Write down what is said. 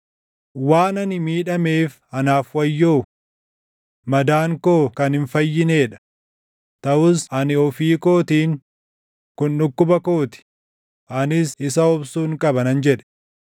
Waan ani miidhameef anaaf wayyoo! Madaan koo kan hin fayyinee dha! Taʼus ani ofii kootiin, “Kun dhukkuba koo ti; anis isa obsuun qaba” nan jedhe.